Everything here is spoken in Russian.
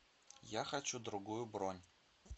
я хочу другую бронь